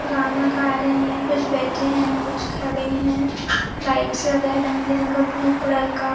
गाना गा रहे है। कुछ बैठे है। कुछ खड़े है। लाइट्स लगाया है। रंगबिरंगा ब्लू कलर का।